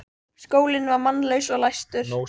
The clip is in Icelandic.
Skólinn var mannlaus og læstur.